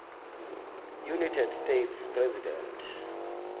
united states president